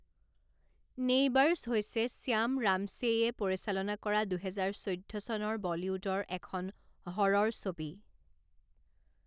Neighbours' হৈছে শ্যাম ৰামছেইয়ে পৰিচালনা কৰা দুহেজাৰ চৈধ্য চনৰ বলীউডৰ এখন হ'ৰৰ ছবি।